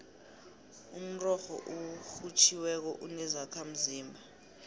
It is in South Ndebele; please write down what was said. umrorho orhutjhiweko unezakhamzimba